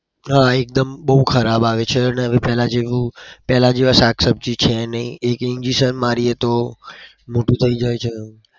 હા એક્દમ બઉ ખરાબ આવે છે અને હવે પેલા જેવા શાક શબ્જી છે નહી. એક injection મારીયે તો મોટું થઇ જાય છે.